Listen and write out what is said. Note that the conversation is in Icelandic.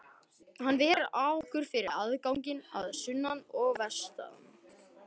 Hann ver okkur fyrir ágangi að sunnan og vestan.